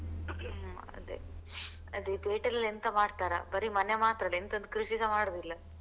ಅದೆ ಅದೆ ಇದು ಪೇಟೆ ಅಲ್ಲಿ ಎಂತ ಮಾಡ್ತಾರಾ ಬರಿ ಮನೆ ಮಾತ್ರ ಅಲ್ಲ ಎಂತ ಒಂದು ಕೃಷಿಸ ಮಾಡುದಿಲ್ಲ.